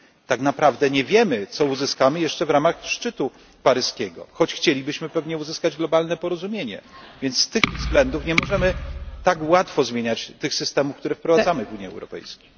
Tak naprawdę nie wiemy, co uzyskamy jeszcze w ramach szczytu paryskiego, choć chcielibyśmy pewnie uzyskać globalne porozumienie, więc z tych względów nie możemy tak łatwo zmieniać tych systemów, które wprowadzamy w Unii Europejskiej.